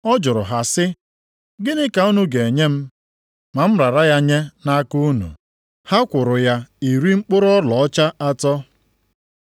Ọ jụrụ ha sị, “Gịnị ka unu ga-enye m ma m rara ya nye nʼaka unu?” Ha kwụrụ ya iri mkpụrụ ọlaọcha atọ.